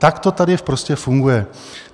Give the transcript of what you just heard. Tak to tady prostě funguje.